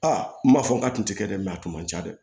Aa n b'a fɔ n k'a tun tɛ kɛ dɛ mɛ a tun man ca dɛ